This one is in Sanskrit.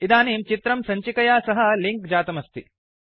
इदानीं चित्रं सञ्चिकया सह लिंक् जातमस्ति